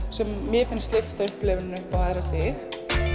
sem mér finnst lyfta upplifuninni upp á æðra stig